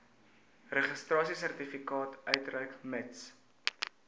registrasiesertifikaat uitreik mits